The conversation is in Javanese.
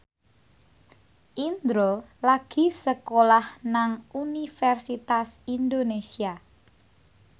Indro lagi sekolah nang Universitas Indonesia